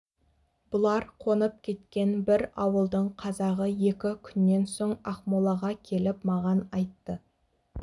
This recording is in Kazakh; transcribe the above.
бұлар қонып кеткен бір ауылдың қазағы екі күннен соң ақмолаға келіп маған айтты